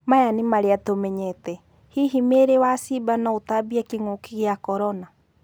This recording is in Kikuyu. Maya nĩ marĩa tũmenyete: Hihi mĩĩri wa ciimba no-ĩtambie kĩng'ũki gĩa Korona?